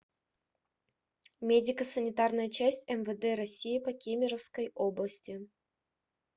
медико санитарная часть мвд россии по кемеровской области